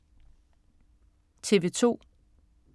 TV 2